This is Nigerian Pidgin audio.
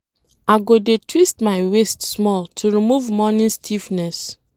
I go dey twist my waist small to remove morning stiffness.